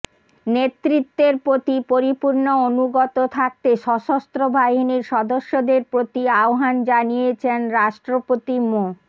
নেতৃত্বের প্রতি পরিপূর্ণ অনুগত থাকতে সশস্ত্রবাহিনীর সদস্যদের প্রতি আহ্বান জানিয়েছেন রাষ্ট্রপতি মো